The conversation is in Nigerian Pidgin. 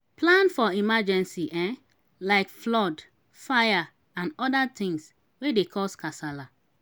plan for emergency um like flood fire and oda things wey dey cause kasala